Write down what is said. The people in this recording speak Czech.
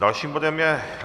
Dalším bodem je